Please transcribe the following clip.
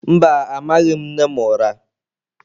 Mba, amaghị m nne m ụra.